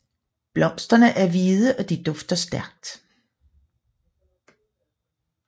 Blomsterne er hvide og de dufter stærkt